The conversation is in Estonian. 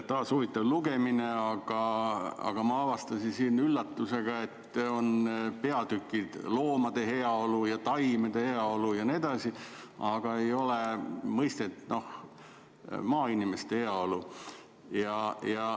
Taas huvitav lugemine, aga ma avastasin üllatusega, et siin on peatükid "Loomade heaolu" ja "Taimede heaolu" jne, aga ei ole peatükki "Maainimeste heaolu".